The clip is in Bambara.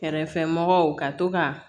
Kɛrɛfɛmɔgɔw ka to ka